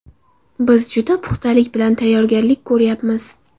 Biz juda puxtalik bilan tayyorgarlik ko‘ryapmiz.